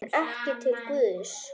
En ekki til Guðs.